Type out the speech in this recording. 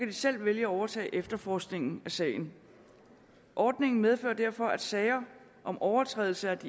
de selv vælge at overtage efterforskningen af sagen ordningen medfører derfor at sager om overtrædelse af